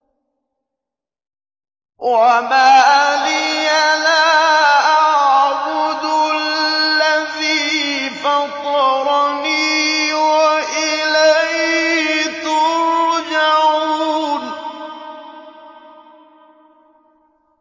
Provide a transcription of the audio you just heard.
وَمَا لِيَ لَا أَعْبُدُ الَّذِي فَطَرَنِي وَإِلَيْهِ تُرْجَعُونَ